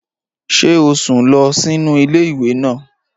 Ṣé o sùn lọ sínú ilé ìwé náà?